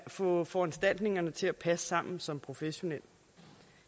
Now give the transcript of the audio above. få foranstaltningerne til at passe sammen som professionel